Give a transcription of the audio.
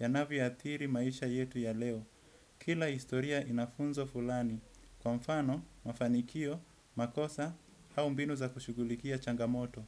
yanavyo athiri maisha yetu ya leo. Kila historia ina funzo fulani. Kwa mfano, mafanikio, makosa, hau mbinu za kushugulikia changamoto.